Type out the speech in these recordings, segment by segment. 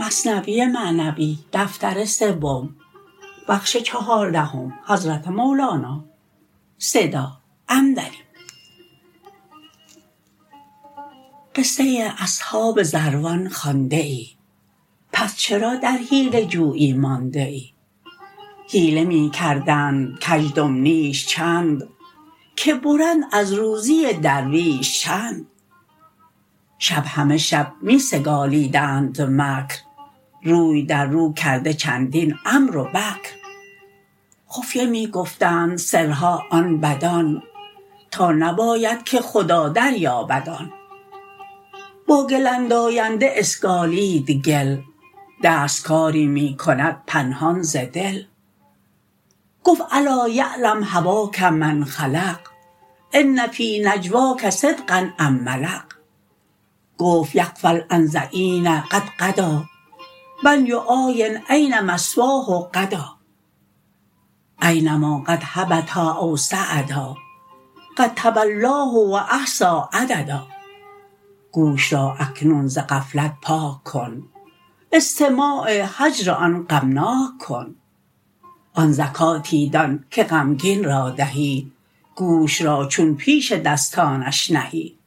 قصه اصحاب ضروان خوانده ای پس چرا در حیله جویی مانده ای حیله می کردند کزدم نیش چند که برند از روزی درویش چند شب همه شب می سگالیدند مکر روی در رو کرده چندین عمرو و بکر خفیه می گفتند سرها آن بدان تا نباید که خدا در یابد آن با گل انداینده اسگالید گل دست کاری می کند پنهان ز دل گفت الا یعلم هواک من خلق ان فی نجواک صدقا ام ملق گفت یغفل عن ظعین قد غدا من یعاین این مثواه غدا اینما قد هبطا او صعدا قد تولاه و احصی عددا گوش را اکنون ز غفلت پاک کن استماع هجر آن غمناک کن آن زکاتی دان که غمگین را دهی گوش را چون پیش دستانش نهی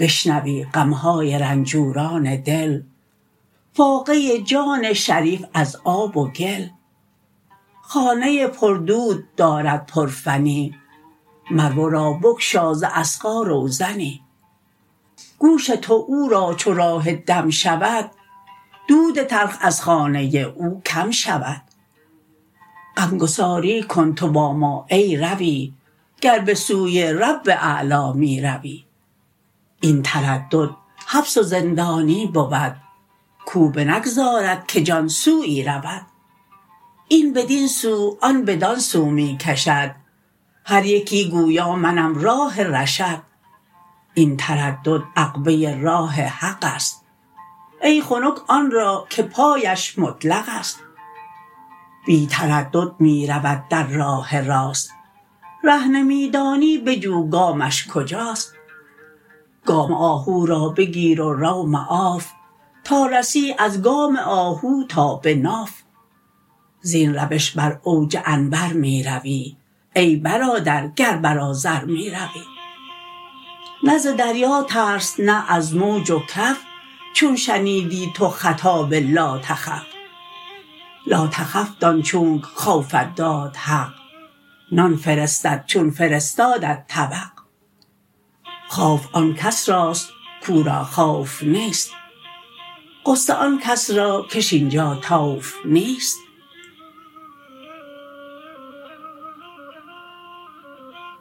بشنوی غمهای رنجوران دل فاقه جان شریف از آب و گل خانه پر دود دارد پر فنی مر ورا بگشا ز اصغا روزنی گوش تو او را چو راه دم شود دود تلخ از خانه او کم شود غمگساری کن تو با ما ای روی گر به سوی رب اعلی می روی این تردد حبس و زندانی بود که بنگذارد که جان سویی رود این بدین سو آن بدان سو می کشد هر یکی گویا منم راه رشد این تردد عقبه راه حقست ای خنک آن را که پایش مطلقست بی تردد می رود در راه راست ره نمی دانی بجو گامش کجاست گام آهو را بگیر و رو معاف تا رسی از گام آهو تا به ناف زین روش بر اوج انور می روی ای برادر گر بر آذر می روی نه ز دریا ترس نه از موج و کف چون شنیدی تو خطاب لا تخف لا تخف دان چونک خوفت داد حق نان فرستد چون فرستادت طبق خوف آن کس راست کاو را خوف نیست غصه آن کس را کش اینجا طوف نیست